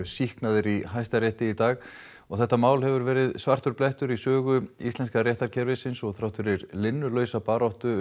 sýknaðir í Hæstarétti í dag þetta mál hefur verið svartur blettur í sögu íslenska réttarkerfisins og þrátt fyrir linnulausa baráttu